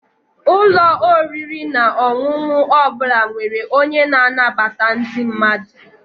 Ụlọ oriri na ọṅụṅụ ọ bụla nwere onye na-anabata ndị mmadụ.